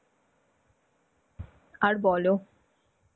আর বলো,